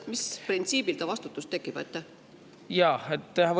Mis printsiibil ta vastutus tekib?